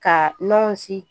Ka nɔnsi